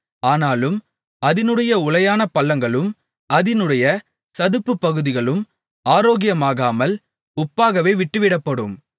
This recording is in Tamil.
ஆனாலும் அதினுடைய உளையான பள்ளங்களும் அதினுடைய சதுப்பு பகுதிகளும் ஆரோக்கியமாகாமல் உப்பாகவே விட்டுவிடப்படும்